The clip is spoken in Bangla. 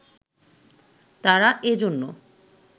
তারা এজন্য